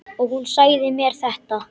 Og hún sagði mér þetta.